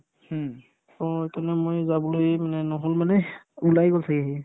to তেনেকে মই যাবলৈ মানে নহ'ল মানে ওলাই গ'ল ছাগে সি